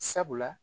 Sabula